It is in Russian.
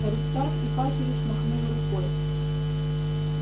аристарх ипатьевич махнул рукой